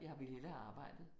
Jeg ville hellere have arbejdet